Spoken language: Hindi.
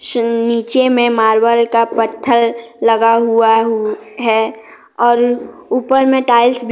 च नीचे में मार्बल का पत्थर लगा हुआ हु है और ऊपर में टाइल्स --